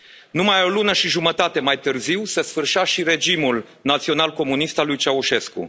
Numai o lună și jumătate mai târziu se sfârșea și regimul național comunist al lui Ceaușescu.